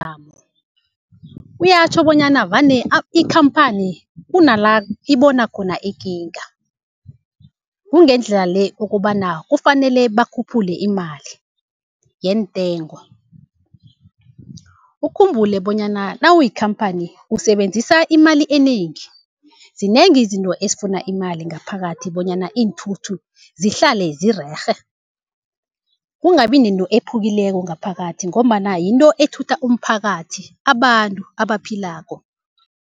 kuyatjho bonyana vane ikhamphani kunala ibona khona ikinga, kungendlela le okobana kufanele bakhuphule imali yeentengo. Ukhumbule bonyana nawuyikhamphani usebenzisa imali enengi, zinengi izinto ezifuna imali ngaphakathi bonyana iinthuthu zihlale zirerhe, kungabi nento ephukileko ngaphakathi, ngombana yinto ethutha umphakathi abantu abaphilako.